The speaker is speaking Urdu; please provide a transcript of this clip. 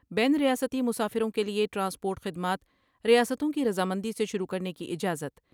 بین الریاستی مسافروں کے لئے ٹرانسپورٹ خدمات ریاستوں کی رضا مندی سے شروع کرنے کی اجازت۔